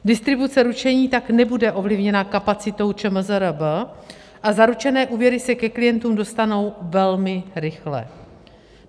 Distribuce ručení tak nebude ovlivněna kapacitou ČMRZB a zaručené úvěry se ke klientům dostanou velmi rychle.